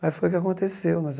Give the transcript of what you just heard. Aí foi o que aconteceu.